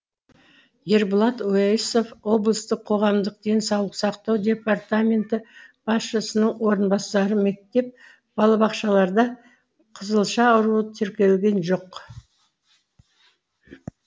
ерболат уәйісов облыстық қоғамдық денсаулық сақтау департаменті басшысының орынбасары мектеп балабақшаларда қызылша ауруы тіркелген жоқ